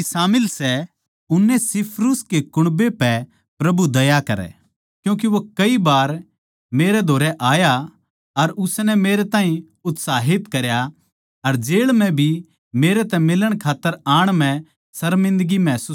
उनेसिफुरुस कै कुण्बे पै प्रभु दया करै क्यूँके वो कई बार मेरै धोरै आया अर उसनै मेरे ताहीं उत्साहित करया अर जेळ म्ह भी मेरे तै मिलण खात्तर आण म्ह सर्मिन्दगी महसूस कोनी करी